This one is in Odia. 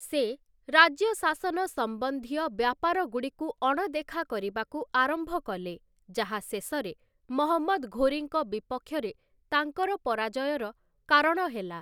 ସେ, ରାଜ୍ୟଶାସନ ସମ୍ବନ୍ଧୀୟ ବ୍ୟାପାରଗୁଡ଼ିକୁ ଅଣଦେଖା କରିବାକୁ ଆରମ୍ଭ କଲେ, ଯାହା ଶେଷରେ ମହମ୍ମଦ୍ ଘୋରୀଙ୍କ ବିପକ୍ଷରେ ତାଙ୍କର ପରାଜୟର କାରଣ ହେଲା ।